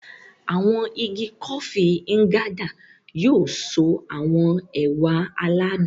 Awọn ìgi Kofi Nganda yóò so awọn ẹwà aládùn.